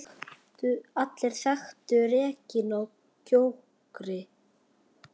Allir þekktu Regínu á Gjögri.